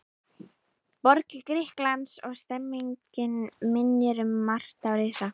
borg Grikklands, og stemmningin minnir um margt á risa